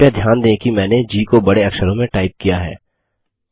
कृपया ध्यान दें कि मैंने जी को बड़े अक्षरों में टाइप किया है